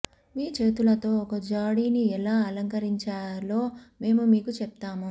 మీ చేతులతో ఒక జాడీని ఎలా అలంకరించాలో మేము మీకు చెప్తాము